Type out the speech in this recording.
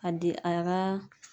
A di a ka